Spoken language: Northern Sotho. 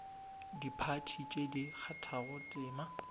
diphathi tše di kgathago tema